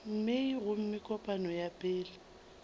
mei gomme kopano ya pele